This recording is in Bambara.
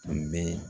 Tun bɛ